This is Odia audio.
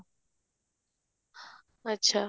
ଆଚ୍ଛା